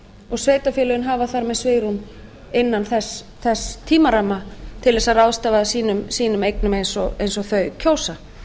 og sveitarfélögin hafa þar með svigrúm innan þess tímaramma til þess að ráðstafa sínum eignum eins og þau kjósa